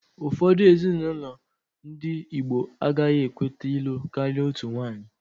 Ụfọdụ ezinaụlọ ndị igbo agaghị ekweta ịlụ karịa otu nwanyị